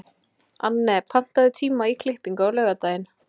Anne, pantaðu tíma í klippingu á laugardaginn.